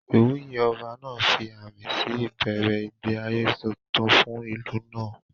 Ìwúyè Ọba náà fi àmì sí ìbẹ̀rẹ̀ ìgbé ayé tuntun fún ìlú náà